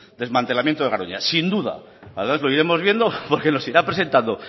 del desmantelamiento de garoña sin duda además lo iremos viendo porque nos irá presentando